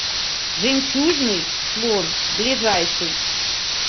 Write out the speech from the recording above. жемчужный слон ближайший